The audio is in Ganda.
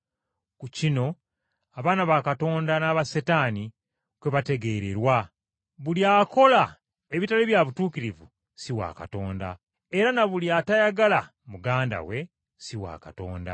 Ku kino abaana ba Katonda n’aba Setaani kwe bategeererwa. Buli akola ebitali bya butuukirivu si wa Katonda, era na buli atayagala muganda we si wa Katonda.